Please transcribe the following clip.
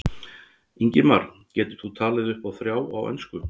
Ingimar: Getur þú talið upp í þrjá á ensku?